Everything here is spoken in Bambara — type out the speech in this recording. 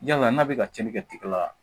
Yala n'a bɛ ka cɛnni kɛ tigɛ la